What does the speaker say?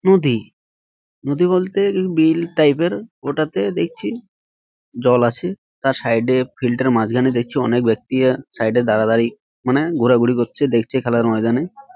নদী নদী বলতে এই বিল টাইপ -এর ওটা তে দেখছি জল আছে। তার সাইড -এ ফিল্টার মাঝখানে দেখছি অনেক ব্যাক্তিরা সাইড এ দাড়া দাড়ি মানে ঘোরা ঘুরি করছে। দেখছে খেলার ময়দানে।